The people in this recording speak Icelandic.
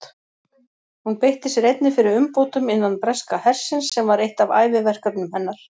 Hún beitti sér einnig fyrir umbótum innan breska hersins sem var eitt af æviverkefnum hennar.